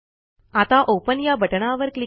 आता ओपन या बटणावर क्लिक करा